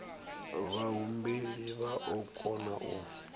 vhahumbeli vha o kona u